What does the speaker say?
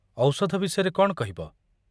ଔଷଧ ବିଷୟରେ କ'ଣ କହିବ?